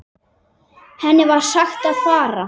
Henni var sagt að fara.